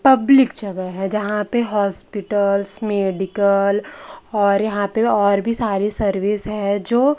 public जगह है जहां पे हॉस्पिटल्स मेडिकल और यहां पे और भी सारी सर्विस है जो--